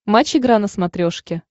матч игра на смотрешке